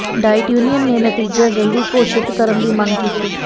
diet union ਨੇ ਨਤੀਜਾ ਜਲਦੀ ਘੋਸ਼ਿਤ ਕਰਨ ਦੀ ਮੰਗ ਕੀਤੀ